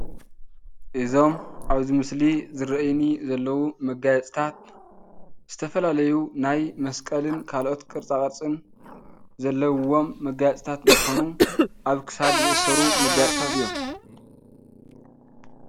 እዞም ኣብዚ ምስሊ ዝርኣዩኒ ዘለው መጋየፅታት ዝተፈላለዩ ናይ መስቀልን ካልኦት ቅርፃ ቅርፅን ዘለውዎም መጋየፅታት እንትኮኑ ኣብ ክሳድ ዝእሰሩ መጋየፅታት እዮም።